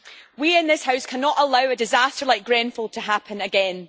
We in this House cannot allow a disaster like Grenfell to happen again.